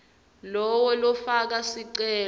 lowo lofaka sicelo